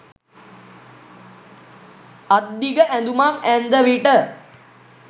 අත්දිග ඇඳුමක් ඇන්දවිට